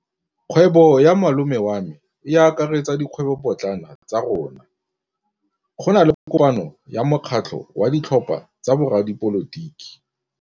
Kgwêbô ya malome wa me e akaretsa dikgwêbôpotlana tsa rona. Go na le kopanô ya mokgatlhô wa ditlhopha tsa boradipolotiki.